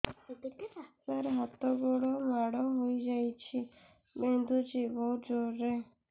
ସାର ହାତ ମାଡ଼ ହେଇଯାଇଛି ବିନ୍ଧୁଛି ବହୁତ ଜୋରରେ